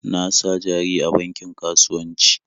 Na sa jari a bankin kasuwanci.